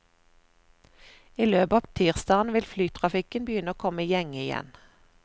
I løpet av tirsdagen vil flytrafikken begynne å komme i gjenge igjen.